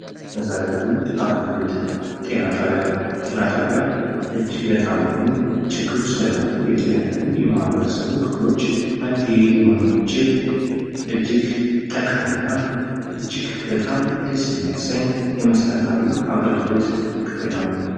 መሠረታዊ አገልግሎት፦ ጤና ጣቢያ፦ ጤና ጣቢያ እጅግ ለታመሙ ችግር ውስጥ ለገቡ የተለያዩ የማህበረሰቡ ክፍሎች መፍትሔ ሊሆን የሚችል እጅግ ጠቃሚ እና እጅግ በጣም ደስ የሚያሰኝ የመሠረታዊ አገልግሎት ክፍል ነው።